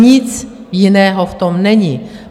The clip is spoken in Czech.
Nic jiného v tom není.